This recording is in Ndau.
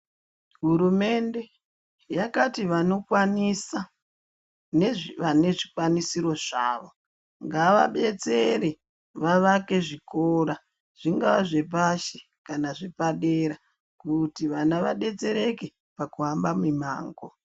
Hurumende yakati vanokwanisa nevane zvikwanisiro zvavo ngavabetsere vavake zvikora zvinga zvepashi kana zvepadera kuti vana vadetsereke pakushamba mimango.